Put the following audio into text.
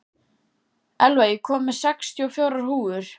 Elva, ég kom með sextíu og fjórar húfur!